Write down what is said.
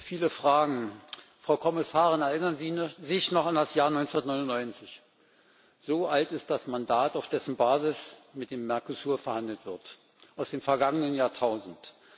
Viele Fragen, Frau Kommissarin Erinnern Sie sich noch an das Jahr 1999? So alt ist das Mandat, auf dessen Basis mit dem Mercosur verhandelt wird aus dem vergangenen Jahrtausend.